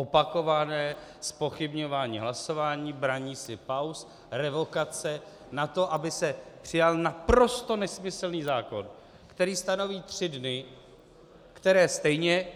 Opakované zpochybňování hlasování, braní si pauz, revokace na to, aby se přijal naprosto nesmyslný zákon, který stanoví tři dny, které stejně